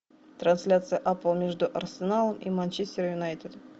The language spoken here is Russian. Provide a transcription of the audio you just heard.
трансляция апл между арсеналом и манчестер юнайтед